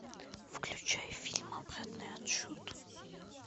включай фильм обратный отсчет